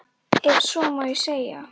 Ef svo má segja.